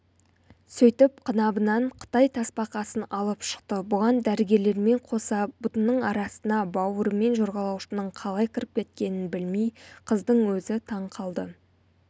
сөйтіп қынабынан қытай тасбақасын алып шықты бұған дәрігерлермен қоса бұтының арасына бауырымен жорғалаушының қалай кіріп кеткенін білмей қыздың өзі таң қалды